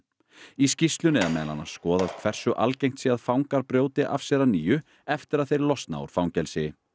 í skýrslunni er meðal annars skoðað hversu algengt sé að fangar brjóti af sér að nýju eftir að þeir losna úr fangelsi